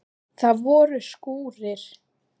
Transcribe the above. Það voru skúrir.